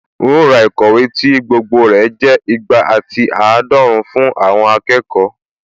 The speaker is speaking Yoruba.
Un ó ra ìkọ̀wé tí tí gbogbo rẹ̀ jẹ́ ìgbà àti àádọ́run fún àwọn akẹ́kọ̀ọ́